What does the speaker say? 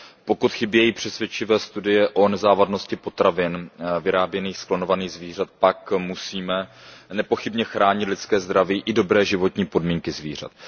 Pokud chybějí přesvědčivé studie o nezávadnosti potravin vyráběných z klonovaných zvířat, pak musíme nepochybně chránit lidské zdraví i dobré životní podmínky zvířat.